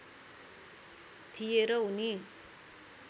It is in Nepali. थिए र उनी